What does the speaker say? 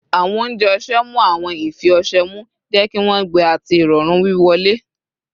Awọn ounjẹ ọṣẹ mu awọn ifi ọṣẹ mu, jẹ ki wọn gbẹ ati irọrun wiwọle